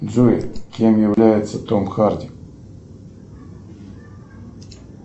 джой кем является том харди